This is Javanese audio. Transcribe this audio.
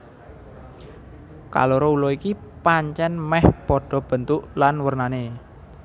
Kaloro ula iki pancèn mèh padha bentuk lan wernané